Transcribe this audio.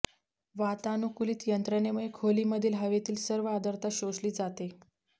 वातानुकुलीत यंत्रणेमुळे खोलीमधील हवेतील सर्व आर्द्रता शोषली जाते